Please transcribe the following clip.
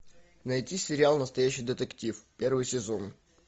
найти сериал настоящий детектив первый сезон